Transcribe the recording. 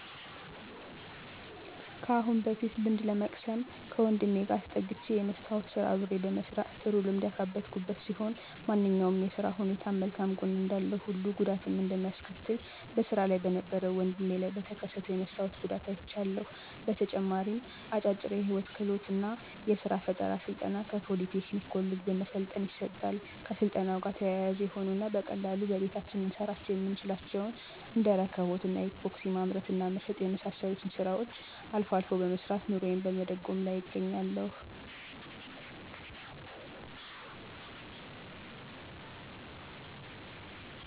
ከአሁን በፊት ልምድ ለመቅሰም ከወንድሜ ጋር ተጠግቸ የመስታዎት ስራ አብሬ በመስራት ጥሩ ልምድ ያካበትኩበት ሲሆን ማንኛውም የስራ ሁኔታም መልካም ጎን እንዳለው ሁሉ ጉዳትም እንደሚያስከትልም በስራ ላይ በነበረው ወድሜ ላይ በተከሰተው የመስታወት ጉዳት አይቻለሁ። በተጨማሪም አጫጭር የህይወት ክህሎት እና የስራ ፈጠራ ስልጠና ከፖሊ ቴክኒክ ኮሌጅ በመሰልጠን ይሰጣል። ከስልጠናው ጋር ተያያዥ የሆኑ እና በቀላሉ በየቤታችን ልንሰራቸው የምንችላቸውን እንደ እርክቦት እና ኢፓክሲ ማምረት እና መሸጥ የመሳሰሉትን ስራዎችን አልፎ አልፎ በመስራት ኑሮየን በመደጎም ላይ እገኛለሁ።